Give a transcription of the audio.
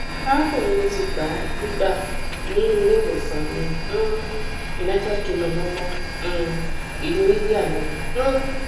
arakunrin mi ti gba gbigba ni ileiwosan ni um united kingdom ọmọ um ilu india ni um